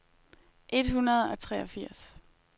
et hundrede og treogfirs